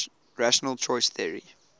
rational choice theory